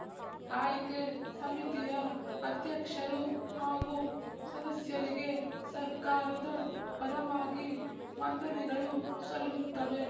ಆಯ್ಕೆ ಸಮಿತಿಯ ಅಧ್ಯಕ್ಷರು ಹಾಗೂ ಸದಸ್ಯರಿಗೆ ಸರ್ಕಾರದ ಪರವಾಗಿ ವಂದನೆಗಳು ಸಲ್ಲುತ್ತವೆ